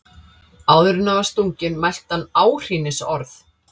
Áður en hann var stunginn mælti hann áhrínisorð.